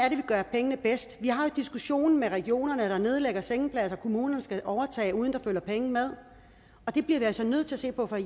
pengene bedst vi har diskussionen med regionerne der nedlægger sengepladser kommunerne skal overtage uden at der følger penge med det bliver vi også nødt til at se på for